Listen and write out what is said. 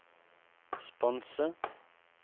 sponse